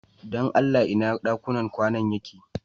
Dan Allah ina ɗakunan kwana din yake?